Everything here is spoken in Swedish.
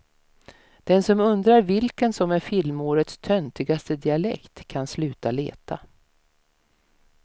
Den som undrar vilken som är filmårets töntigaste dialekt kan sluta leta.